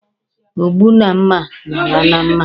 Ogbu na mma na-ala na mma.